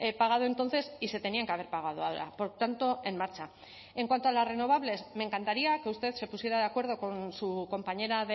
pagado entonces y se tenían que haber pagado ahora por tanto en marcha en cuanto a las renovables me encantaría que usted se pusiera de acuerdo con su compañera